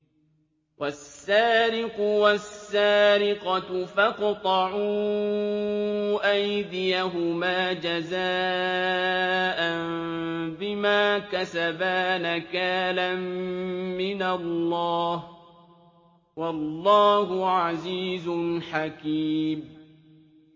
وَالسَّارِقُ وَالسَّارِقَةُ فَاقْطَعُوا أَيْدِيَهُمَا جَزَاءً بِمَا كَسَبَا نَكَالًا مِّنَ اللَّهِ ۗ وَاللَّهُ عَزِيزٌ حَكِيمٌ